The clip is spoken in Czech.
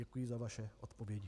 Děkuji za vaše odpovědi.